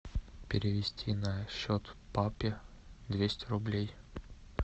перевести на счет папе двести рублей